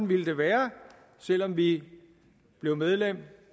ville være selv om vi blev medlem